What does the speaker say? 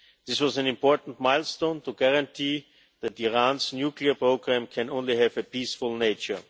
This was an important milestone to guarantee that Iran's nuclear programme can only have a peaceful nature.